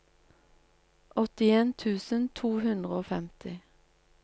åttien tusen to hundre og femti